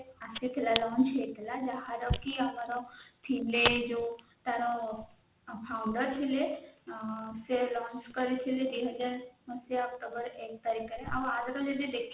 ଆସିଥିଲା publish ହେଇଥିଲା ଯାହାର କି ଥିଲେ ଆମର ଜୋଉ ତାର founder ଥିଲେ ସେ publish କରିଥିଲେ ଆଉ ଯଦି ଆମେ ଦେଖିବା